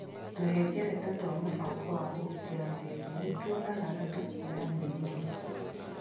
Tũhengereta twa mũbango wa kũgitĩra mwĩrĩ nĩ tuonaga na tũkoya mĩrimũ.